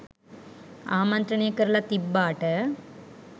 ආමන්ත්‍රනය කරලා තිබ්බාට